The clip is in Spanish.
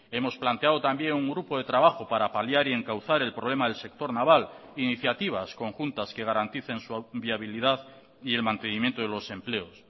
hemos planteado también un grupo de trabajo para paliar y encauzar el problema del sector naval iniciativas conjuntas que garanticen su viabilidad y el mantenimiento de los empleos